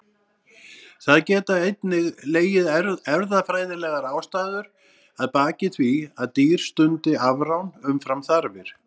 Það geta einnig legið erfðafræðilegar ástæður að baki því að dýr stundi afrán umfram þarfir.